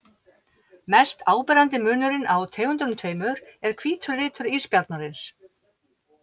Mest áberandi munurinn á tegundunum tveimur er hvítur litur ísbjarnarins.